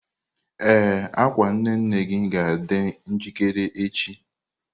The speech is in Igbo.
Ee, akwa nne nne gị ga-adị njikere echi.